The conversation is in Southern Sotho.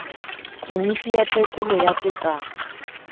komiti ya tekolo ya tekano